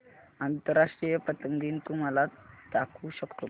आंतरराष्ट्रीय पतंग दिन तू मला दाखवू शकतो का